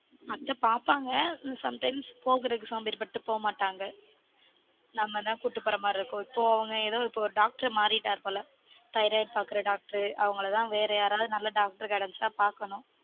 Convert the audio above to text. அத்த பார்ப்பாங்க sometimes போகுரதுக்கு சோம்பேறிபட்டு போக மாட்டாங்க நம்ம தான் கூடிட்டு பொர மாதிரி இருக்கும் இப்பொ அவங்க எதொ ஒரு doctor மாரிட்டாரு போல thyroid பார்க்குற doctor அவங்கள தான் வேற யாராவது நல்ல doctor கெடச்சா பார்க்கணும்